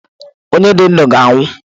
Onye dị ndụ ga anwụ.